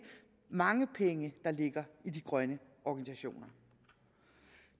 mange penge der ligger i de grønne organisationer